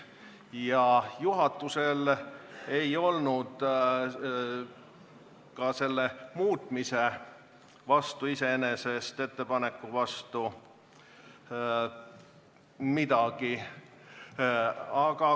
Ja juhatusel ei olnud iseenesest ka selle muutmisettepaneku vastu midagi.